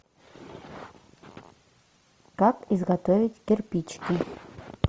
как изготовить кирпичики